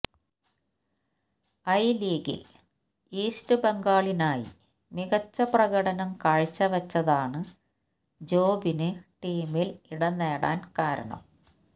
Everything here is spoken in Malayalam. ഐ ലീഗില് ഈസ്റ്റ് ബംഗളിനായി മികച്ച പ്രകടനം കാഴ്ചവച്ചതാണ് ജോബിന് ടീമില് ഇടംനേടാന് കാരണം